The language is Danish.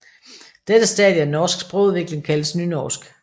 Dette stadie af norsk sprogudvikling kaldes nynorsk